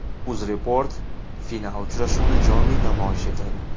UzReport final uchrashuvini jonli namoyish etadi.